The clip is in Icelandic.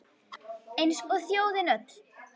Eins og þjóðin öll